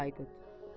İkinci Haydut.